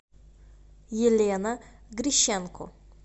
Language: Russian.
елена грищенко